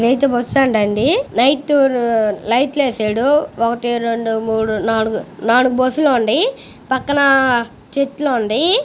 ఇదైతే bus stand అండి. Night లైట్లు లైట్స్ వేసాడు. ఒకటి రెండు మూడు నాలుగు నాలుగు బస్సు లు ఉన్నాయ్. పక్కన చెట్టులు ఉన్నాయ్.